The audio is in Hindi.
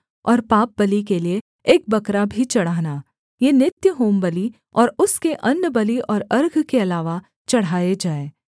और पापबलि के लिये एक बकरा भी चढ़ाना ये नित्य होमबलि और उसके अन्नबलि और अर्घ के अलावा चढ़ाए जाएँ